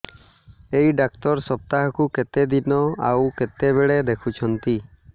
ଏଇ ଡ଼ାକ୍ତର ସପ୍ତାହକୁ କେତେଦିନ ଆଉ କେତେବେଳେ ଦେଖୁଛନ୍ତି